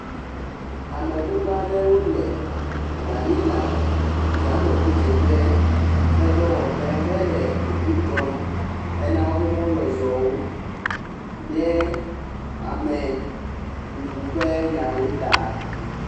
Ame gbogbo aɖewo le Malina yameŋudzeƒe ƒe dɔwɔƒe hele eŋu dzɔm hena woƒe mɔzɔzɔwo ɖe ameŋuŋu ƒe nyawo taa.